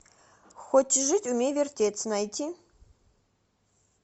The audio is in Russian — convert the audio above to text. хочешь жить умей вертеться найти